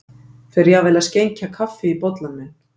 Fer jafnvel að skenkja kaffi í bollann minn